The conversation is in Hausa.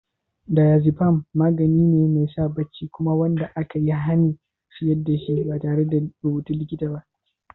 Diazepam magani ne mai sa barci kuma wanda aka yi hanin sayar da shi ba tare da rubutun likita ba.